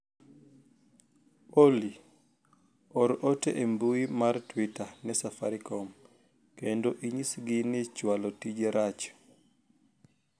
Olly or ote e mbui mar twita ne safarikom kendo inyisgi ni chwalo tije rach